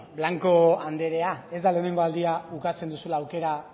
blanco anderea ez da lehenengo aldia ukatzen duzula aukera